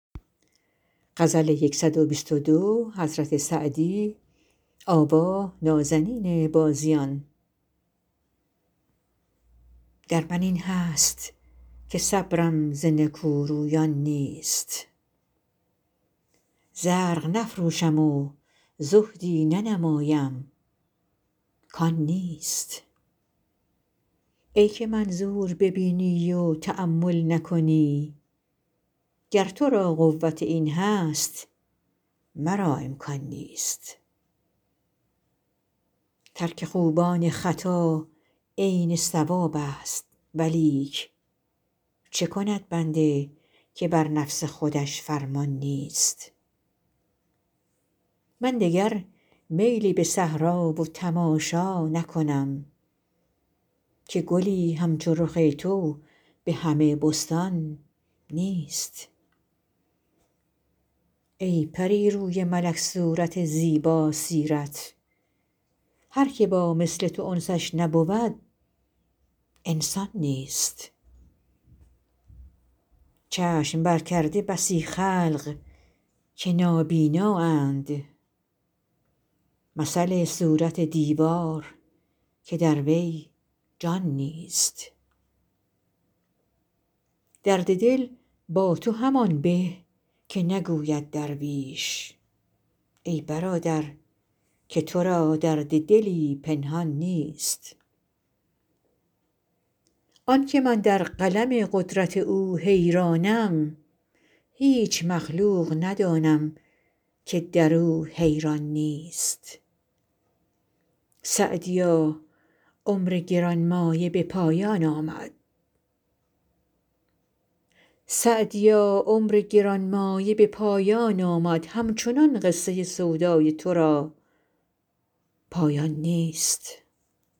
در من این هست که صبرم ز نکورویان نیست زرق نفروشم و زهدی ننمایم کان نیست ای که منظور ببینی و تأمل نکنی گر تو را قوت این هست مرا امکان نیست ترک خوبان خطا عین صوابست ولیک چه کند بنده که بر نفس خودش فرمان نیست من دگر میل به صحرا و تماشا نکنم که گلی همچو رخ تو به همه بستان نیست ای پری روی ملک صورت زیباسیرت هر که با مثل تو انسش نبود انسان نیست چشم برکرده بسی خلق که نابینااند مثل صورت دیوار که در وی جان نیست درد دل با تو همان به که نگوید درویش ای برادر که تو را درد دلی پنهان نیست آن که من در قلم قدرت او حیرانم هیچ مخلوق ندانم که در او حیران نیست سعدیا عمر گران مایه به پایان آمد همچنان قصه سودای تو را پایان نیست